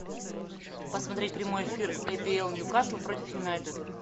посмотреть прямой эфир апл нью касл против юнайтед